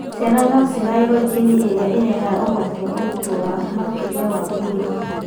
Ciana no cigaĩrwo jini ĩrĩa irehaga ũgwati wa ũritũ wa makĩria wa mwĩrĩ,